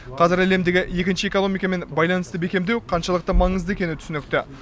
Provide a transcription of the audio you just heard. қазір әлемдегі екінші экономикамен байланысты бекемдеу қаншалықты маңызды екені түсінікті